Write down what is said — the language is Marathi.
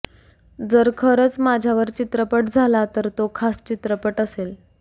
जर खरंच माझ्यावर चित्रपट झाला तर तो खास चित्रपट असेल